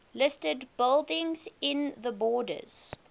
listed buildings in the borders